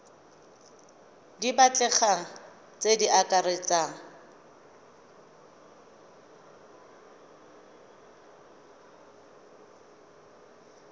di batlegang tse di akaretsang